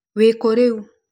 Wĩkũ rĩu?